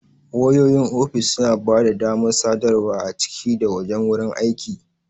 Wayoyin ofis suna ba da damar sadarwa a ciki da wajen wurin aiki.